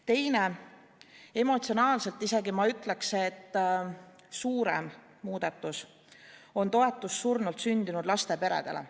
Teine ja ma isegi ütleks, et emotsionaalselt suurem muudatus, on toetus surnult sündinud laste peredele.